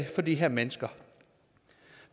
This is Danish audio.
for de her mennesker